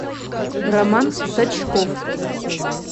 роман сачков